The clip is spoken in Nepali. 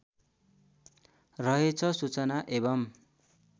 रहेछ सूचना एवम्